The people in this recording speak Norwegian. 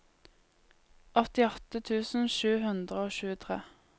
åttiåtte tusen sju hundre og tjuetre